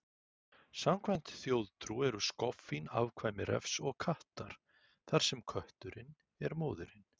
Samkvæmt þjóðtrú eru skoffín afkvæmi refs og kattar, þar sem kötturinn er móðirin.